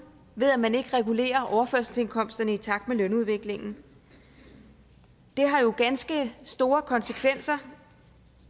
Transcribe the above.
ved at man ikke regulerer overførselsindkomsterne i takt med lønudviklingen det har jo ganske store konsekvenser